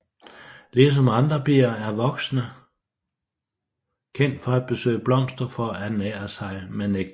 Ligesom andre bier er voksne kendt for at besøge blomster for at ernære sig med nektar